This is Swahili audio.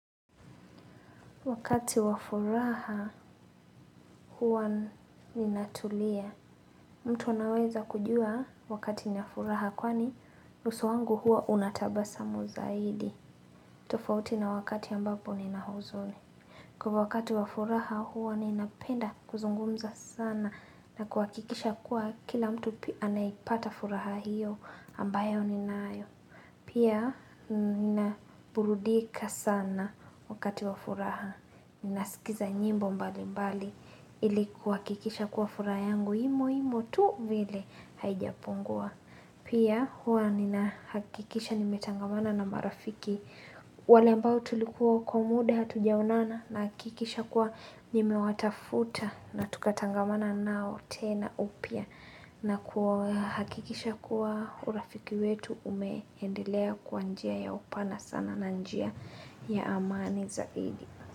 Wakati wafuraha huwa ninatulia. Mtu anaweza kujua wakati ninafuraha kwani uso wangu huwa unatabasamu zaidi. Tofauti na wakati ambapo ninahuzuni. Kwa wakati wafuraha huwa ninapenda kuzungumza sana na kwa kikisha kuwa kila mtu pia naipata furaha hiyo ambayo ninayo. Pia nina burudika sana wakati wafuraha. Ninasikiza nyimbo mbali mbali ilikuwa kikisha kuwa fura yangu imo imo tu vile haijapungua Pia huwa nina hakikisha nimetangamana na marafiki wale mbao tulikuwa kwa muda tujaunana na hakikisha kuwa nimewatafuta na tukatangamana nao tena upia na hakikisha kuwa urafiki wetu umehendelea kwa njia ya upana sana na njia ya amani zaidi.